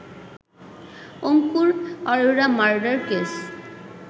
Ankur Arora murder case